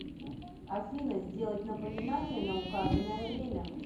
афина сделать напоминание на указанное время